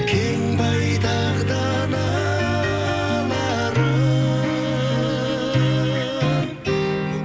кең байтақ даналарым